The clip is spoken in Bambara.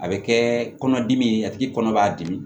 A bɛ kɛ kɔnɔdimi ye a tigi kɔnɔ b'a dimi